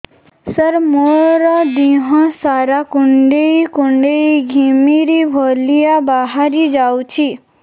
ସାର ମୋର ଦିହ ସାରା କୁଣ୍ଡେଇ କୁଣ୍ଡେଇ ଘିମିରି ଭଳିଆ ବାହାରି ଯାଉଛି